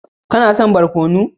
Kana son barkono?